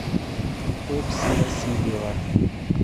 окси васильева